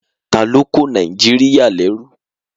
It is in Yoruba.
Taló kó Nàìjíríyà lẹ́rú?